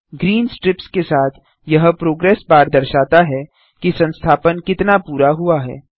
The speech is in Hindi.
ग्रीन स्ट्रिप्स के साथ यह प्रोग्रेस बार दर्शाता है कि संस्थापन कितना पूरा हुआ है